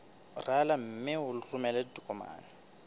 rala mme o romele ditokomene